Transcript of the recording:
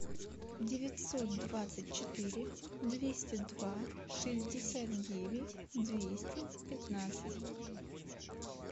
девятьсот двадцать четыре двести два шестьдесят девять двести пятнадцать